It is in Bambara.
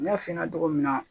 N y'a f'i ɲɛna cogo min na